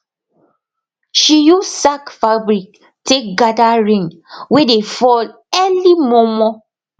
she use sack fabric take gather rain wey dey fall early mormor